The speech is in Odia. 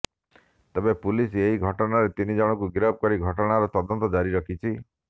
ତେବେ ପୁଲିସ୍ ଏହି ଘଟଣାରେ ତିନି ଜଣଙ୍କୁ ଗିରଫ କରି ଘଟଣାର ତଦନ୍ତ ଜାରି ରଖିଛି